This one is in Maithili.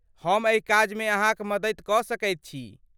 हम एहि काजमे अहाँक मदति कऽ सकैत छी।